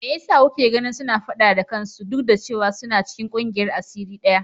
Me yasa kuke ganin suna fada da kansu duk da cewa suna cikin kungiyar asiri daya?